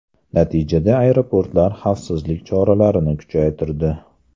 Natijada aeroportlar xavfsizlik choralarini kuchaytirdi.